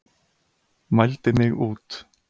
Mældi mig út.